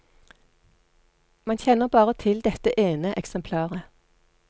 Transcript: Man kjenner bare til dette ene eksemplaret.